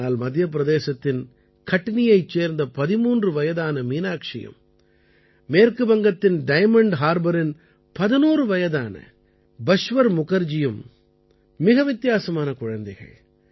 ஆனால் மத்திய பிரதேசத்தின் கட்னியைச் சேர்ந்த 13 வயதே ஆன மீனாக்ஷியும் மேற்கு வங்கத்தின் டைமண்ட் ஹார்பரின் 11 வயதே ஆன பஷ்வர் முகர்ஜியும் மிக வித்தியாசமான குழந்தைகள்